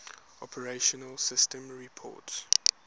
operating systems report